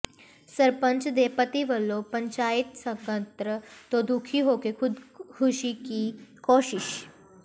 ਸਰਪੰਚ ਦੇ ਪਤੀ ਵੱਲੋਂ ਪੰਚਾਇਤ ਸਕੱਤਰ ਤੋਂ ਦੁਖੀ ਹੋ ਕੇ ਖ਼ੁਦਕੁਸ਼ੀ ਦੀ ਕੋਸ਼ਿਸ਼